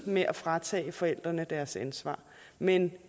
med at fratage forældrene deres ansvar men